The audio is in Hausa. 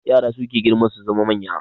Yara suke girma su zama manya